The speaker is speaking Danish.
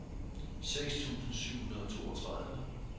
seks tusind syv hundrede og toogtredive